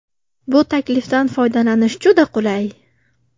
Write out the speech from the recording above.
Bu taklifdan foydalanish juda qulay!